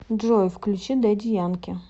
джой включи дэдди янки